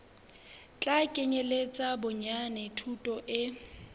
tla kenyeletsa bonyane thuto e